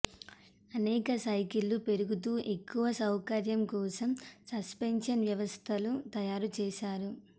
అనేక సైకిళ్ళు పరిగెడుతూ ఎక్కువ సౌకర్యం కోసం సస్పెన్షన్ వ్యవస్థలు తయారు చేస్తారు